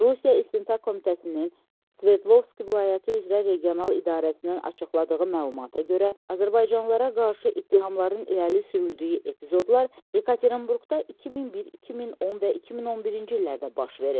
Rusiya İstintaq Komitəsinin Sverdlovski vilayəti üzrə regional idarəsindən açıqladığı məlumata görə, azərbaycanlılara qarşı ittihamların irəli sürüldüyü epizodlar Yekaterinburqda 2001, 2010 və 2011-ci illərdə baş verib.